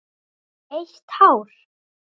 Eitt hár.